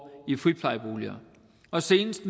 i friplejeboligerne og senest